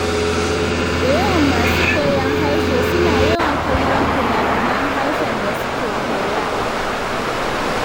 Da yawan masu koyon harshe suna yawan kallon finafinan harshen da suke koya.